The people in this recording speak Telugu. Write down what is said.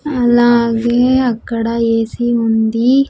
అలాగే అక్కడ ఏ_సి ఉంది.